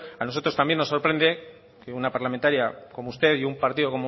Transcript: a nosotros también nos sorprende que una parlamentaria como usted y un partido